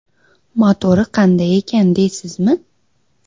Motori qanday ekan deysizmi?